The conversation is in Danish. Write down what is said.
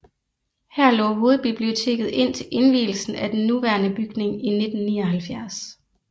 Her lå hovedbiblioteket indtil indvielsen af den nuværende bygning i 1979